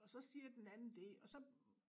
Og så siger den anden det og så